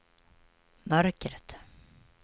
mörkret